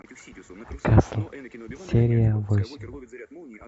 касл серия восемь